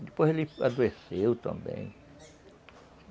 Depois ele adoeceu também.